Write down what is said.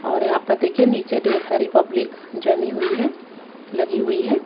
और यहां पर देखिए नीचे ढेर सारी पब्लिक जमी हुई है लगी हुई है।